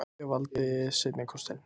Ég valdi seinni kostinn.